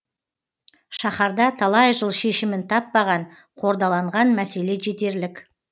шаһарда талай жыл шешімін таппаған қордаланған мәселе жетерлік